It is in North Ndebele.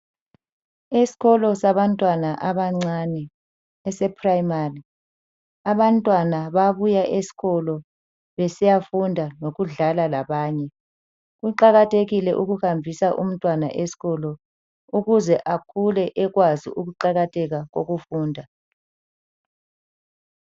Esikolo sabantwana abancane ese primary, abantwana bayabuya esikolo besiyafunda ngokudlala labanye. Kuqakathekile ukuhambisa umntwana esikolo ukuze akhule ekwazi ukuqakatheka kokufunda.